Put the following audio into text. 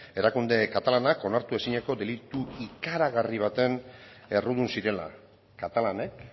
erakunde katalanak onartu ezineko delitu ikaragarri batean errudun zirela katalanek